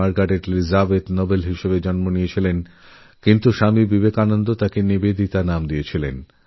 Margaret Elizabeth Nobel আয়ারল্যাণ্ডে জন্মেছিলেন পরে তাঁকে স্বামীবিবেকানন্দ নিবেদিতা নাম দেন